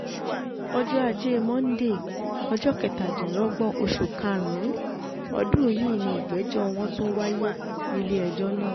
ọjọ́ ajé monde um ọjọ́ kẹtàdínlọ́gbọ̀n oṣù karùn-ún ọdún yìí ni ìgbẹ́jọ́ wọn tún wáyé um nílé-ẹjọ́ náà